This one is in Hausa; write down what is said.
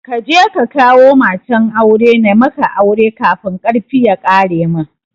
Kaje ka kawo matan aure na maka aure kafin karfi ya ƙare mun